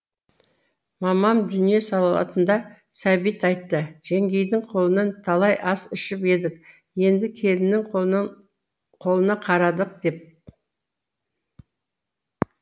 мамам дүние салатында сәбит айтты жеңгейдің қолынан талай ас ішіп едік енді келіннің қолына қарадық деп